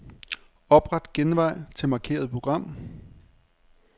Opret genvej til markerede program.